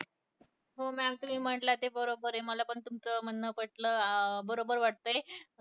हो, mam तुम्ही म्हंटला ते बरोबर आहे, मला पण तुमचं म्हणणं पटलं अं बरोबर वाटतंय